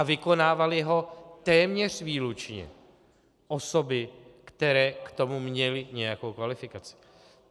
A vykonávaly ho téměř výlučně osoby, které k tomu měly nějakou kvalifikaci.